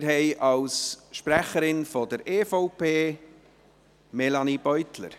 Wir haben als Sprecherin der EVP Melanie Beutler.